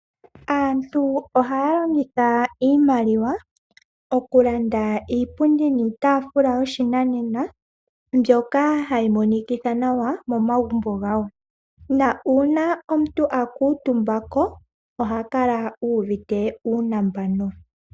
Aantu ohaya longitha iimaliwa, okulanda iipundi niitaafula yopashinanena, mbyoka hayi monikitha nawa momagumbo gawo, nuuna omuntu a kuutumba ko, oha kala uuvite uunambano.